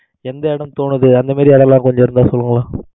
எந்த இடம் தோணுது அந்த மாதிரி அதெல்லாம் கொஞ்சம் இருந்தா சொல்லுங்க